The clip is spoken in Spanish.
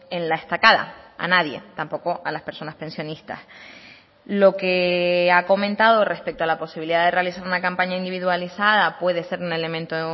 en la estacada a nadie tampoco a las personas pensionistas lo que ha comentado respecto a la posibilidad de realizar una campaña individualizada puede ser un elemento